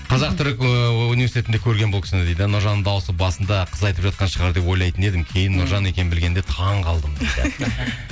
қазақ түрік ыыы университетінде көргенмін бұл кісіні дейді нұржанның дауысы басында қыз айтып жатқан шығар деп ойлайтын едім кейін нұржан екенін білгенде таңқалдым дейді